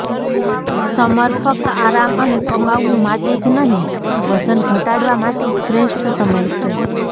summer ફક્ત આરામ અને કમાવવું માટે જ નહીં પણ વજન ઘટાડવા માટે શ્રેષ્ઠ સમય છે